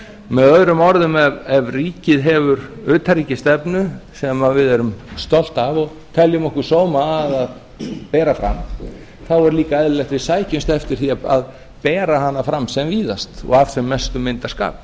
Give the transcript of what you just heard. með öðrum orðum ef ríki hefur utanríkisstefnu sem við erum stolt af og teljum okkur sóma að að bera fram þá er líka eðlilegt að við sækjumst eftir því að bera hana fram sem víðast og af sem mestum myndarskap